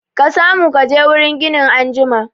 Ka samu kaje wurin ginin anjima